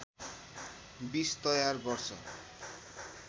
विष तयार गर्छ